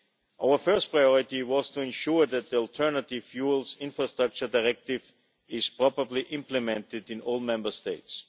Our first priority was to ensure that the Alternative Fuels Infrastructure Directive is properly implemented in all Member States.